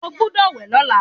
O gbúdọ̀ wẹ̀ lọ́la.